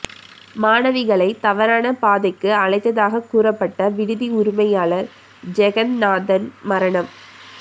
மாணவிகளை தவறான பாதைக்கு அழைத்ததாக கூறப்பட்ட விடுதி உரிமையாளர் ஜெகந்நாதன் மரணம்